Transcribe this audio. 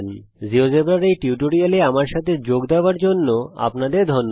জীয়োজেব্রার এই টিউটোরিয়াল এ আমার সাথে যোগ দেওয়ার জন্য আপনাদের ধন্যবাদ